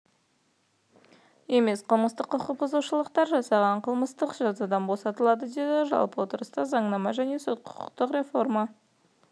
емес қылмыстық құқық бұзушылықтар жасағандар қылмыстық жазадан босатылады деді жалпы отырыста заңнама және сот-құқықтық реформа